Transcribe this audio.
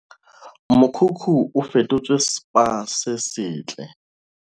Mokhukhu o fetotswe Spa se setle